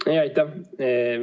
Aitäh!